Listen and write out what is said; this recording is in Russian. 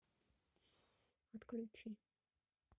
отключи